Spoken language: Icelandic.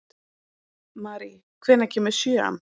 Mary, hvenær kemur sjöan?